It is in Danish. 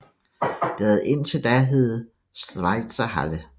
Det havde indtil da heddet Schweizerhalle